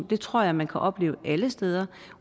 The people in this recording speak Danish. det tror jeg man kan opleve alle steder